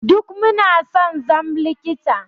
Duk Muna son zam likita.